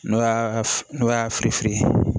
N'o y'a n'o y'a fereferan